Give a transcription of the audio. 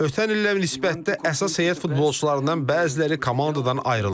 Ötən illərə nisbətdə əsas heyət futbolçularından bəziləri komandadan ayrılıb.